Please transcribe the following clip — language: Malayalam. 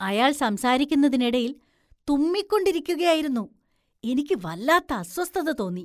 അയാള്‍ സംസാരിക്കുന്നതിനിടയില്‍ തുമ്മികൊണ്ടിരിക്കുകയായിരുന്നു, എനിക്ക് വല്ലാത്ത അസ്വസ്ഥത തോന്നി.